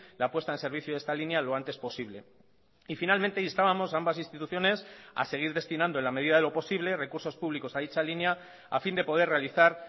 la puesta en servicio de esta línea lo antes posible y finalmente instábamos a ambas instituciones a seguir destinando en la medida de lo posible recursos públicos a dicha línea a fin de poder realizar